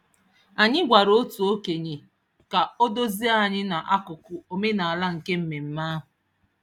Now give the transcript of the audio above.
Anyị gwara otu okenye ka o duzie anyị n'akụkụ omenaala nke mmemme ahụ.